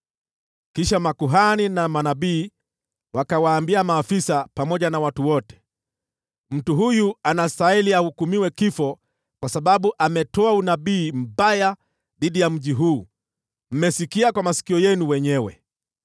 Kisha makuhani na manabii wakawaambia maafisa pamoja na watu wote, “Mtu huyu anastahili ahukumiwe kifo kwa sababu ametoa unabii mbaya dhidi ya mji huu. Mmesikia kwa masikio yenu wenyewe!”